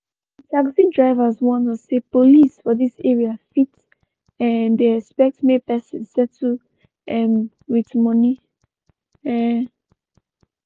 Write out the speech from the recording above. d taxi driver warn us say police for dis area fit um dey expect make persin settle um wit moni. um